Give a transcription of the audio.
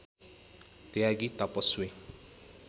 त्यागी तपस्वी